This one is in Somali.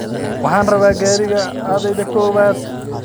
Waxan rabaa gariga aadhey Kobodo.